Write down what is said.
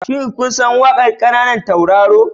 Shin kun san waƙar kananan tauraro?